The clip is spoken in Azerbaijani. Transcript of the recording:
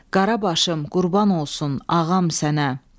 Qara başım qurban olsun ağam sənə.